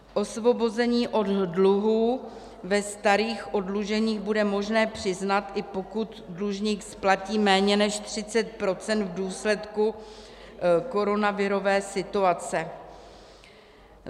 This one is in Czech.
Osvobození od dluhů ve starých oddluženích bude možné přiznat, i pokud dlužník splatí méně než 30 % v důsledku koronavirové situace.